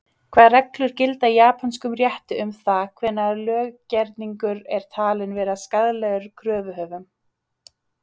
Hvaða reglur gilda í japönskum rétti um það hvenær löggerningur er talinn vera skaðlegur kröfuhöfum?